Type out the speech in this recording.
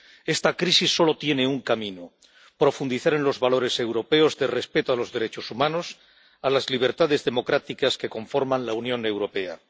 Esta crisis solo tiene un camino profundizar en los valores europeos de respeto a los derechos humanos, a las libertades democráticas que conforman la Unión Europea.